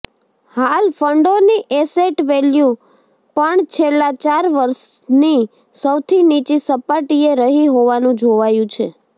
હાલ ફંડોની asset value પણ છેલ્લા ચાર વર્ષની સૌથી નીચી સપાટીએ રહી હોવાનું જોવાયું છે